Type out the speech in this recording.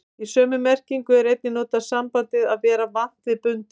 Í sömu merkingu er einnig notað sambandið að vera vant við bundinn.